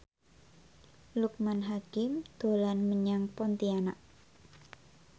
Loekman Hakim dolan menyang Pontianak